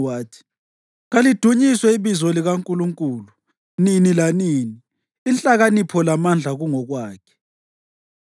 wathi: “Kalidunyiswe ibizo likaNkulunkulu nini lanini; inhlakanipho lamandla kungokwakhe.